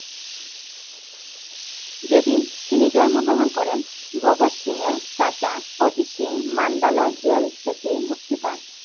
যেদিন তিনি জন্ম গ্রহণকরেন ভগৎ সিং এর চাচা অজিত সিং নান্দলায় জেল থেকে মুক্তি পান